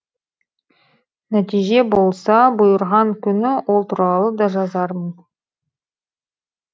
нәтиже болса бұйырған күні ол туралы да жазармын